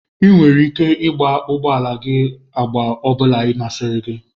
Ị nwere ike igba ụgbọ ala gị agba ọ bụla masịrị gị.